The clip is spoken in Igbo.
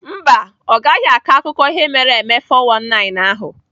Mba, ọ gaghị akọ akụkọ ihe mere eme 419 ahụ.